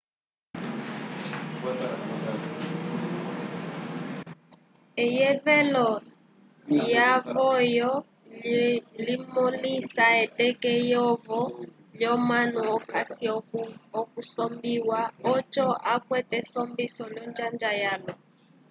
eyevelo layovo limõlisa eteke eyovo lyomunu okasi okusombiwa oco akwate esombiso l'onjanga yalwa